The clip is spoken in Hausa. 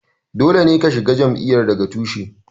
Dole ne ka shiga jam'iyyar daga tushe.